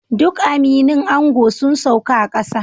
Duk aminin ango sun sauka a kasa